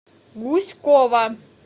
гуськова